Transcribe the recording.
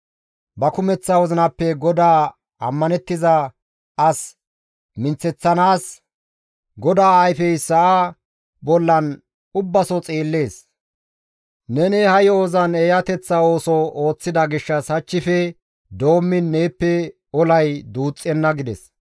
Ba kumeththa wozinappe GODAA ammanettiza as minththeththanaas GODAA ayfey sa7aa bollan ubbaso xeellees. Neni ha yo7ozan eeyateththa ooso ooththida gishshas hachchife doommiin neeppe olay duuxxenna» gides.